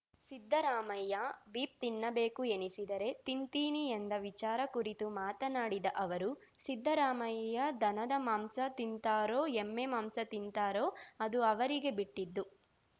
Siddaramaiah beef ತಿನ್ನಬೇಕು ಎನಿಸಿದರೆ ತಿಂತೀನಿ ಎಂದ ವಿಚಾರ ಕುರಿತು ಮಾತನಾಡಿದ ಅವರು ಸಿದ್ದರಾಮಯ್ಯ ದನದ ಮಾಂಸ ತಿಂತಾರೋ ಎಮ್ಮೆ ಮಾಂಸ ತಿಂತಾರೋ ಅದು ಅವರಿಗೆ ಬಿಟ್ಟಿದ್ದು